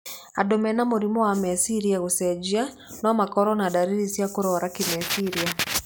Andũ mena mũrimũ wa meciria gũcenjia no makorwo na ndariri cia kũrwara kĩmeciria.